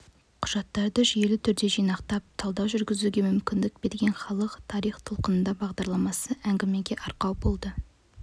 құжаттарды жүйелі түрде жинақтап талдау жүргізуге мүмкіндік берген халық тарих толқынында бағдарламасы әңгімеге арқау болды